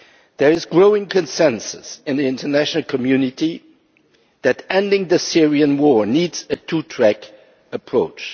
There is growing consensus in the international community that ending the Syrian war needs a two track approach.